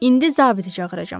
İndi zabiti çağıracam.